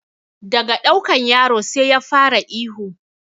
Daga ɗaukan yaro sai ya fara ihu